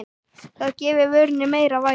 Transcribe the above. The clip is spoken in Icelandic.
Það gefi vörunni meira vægi.